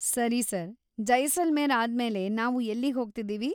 ಸರಿ ಸರ್, ಜೈಸಲ್ಮೇರ್‌ ಆದ್ಮೇಲೆ ನಾವು ಎಲ್ಲಿಗ್ಹೋಗ್ತಿದೀವಿ?